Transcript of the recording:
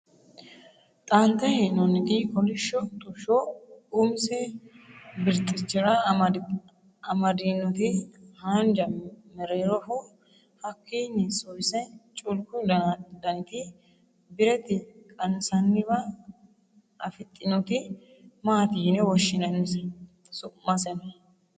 xaanixe henonniti koolisho xushsho umise birxichira amadinoti hanja meeroroho haakini suwise culku daniti birte qansaniwa afixinoti maati yine woshinanise? su'maseno?